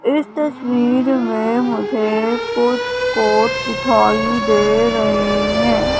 इस तस्वीर में मुझे कुछ कोर्ट दिखाई दे रहे हैं।